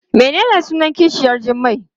Menene sunan kishiyar Jummai?